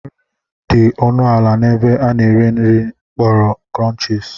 Nri dị ọnụ ala n'ebe a na-ere nri akpọrọ Krọnchis.